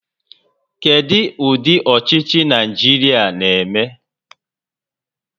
Kedu ụdị ọchịchị Naịjirịa na-eme?